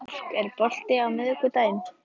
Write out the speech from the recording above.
Mark, er bolti á miðvikudaginn?